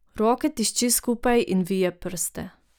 Roke tišči skupaj in vije prste.